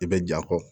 I bɛ ja kɔ